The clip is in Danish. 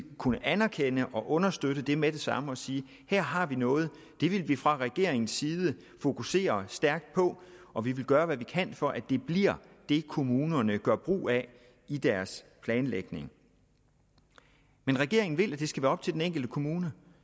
kunne anerkende og understøtte det med det samme og sige at her har vi noget og det vil vi fra regeringens side fokusere stærkt på og vi vil gøre hvad vi kan for at det bliver det kommunerne gør brug af i deres planlægning men regeringen vil at det skal være op til den enkelte kommune